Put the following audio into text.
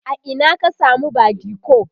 a Ina ka samu badiko?